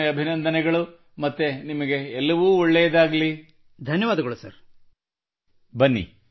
ಒಳ್ಳೆಯದು ವಿನಾಯಕ್ ನಿಮಗೆ ಮತ್ತೊಮ್ಮೆ ಅಭಿನಂದನೆಗಳು ಮತ್ತು ನಿಮಗೆ ಎಲ್ಲವೂ ಒಳಿತಾಗಲಿ well Vinayak congratulations again and wish you all the best